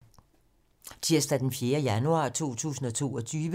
Tirsdag d. 4. januar 2022